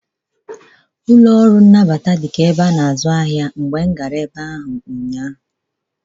Ọnụ ụlọ ọrụ ngalaba na-anabata ụmụ akwụkwọ dịka ahịa mgbe m gara ebe ahụ ụnyaahụ.